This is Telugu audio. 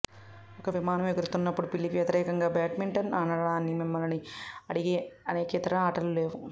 ఒక విమానం ఎగురుతున్నప్పుడు పిల్లికి వ్యతిరేకంగా బాడ్మింటన్ ఆడటానికి మిమ్మల్ని అడిగే అనేక ఇతర ఆటలు లేవు